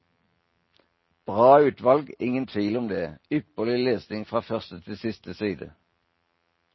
Bra utvalg, ingen tvil om det, ypperlig lesning fra første til siste side.